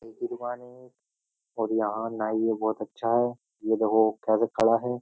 और यहां ना ये बहुत अच्छा है ये देखो कैसे खड़ा है।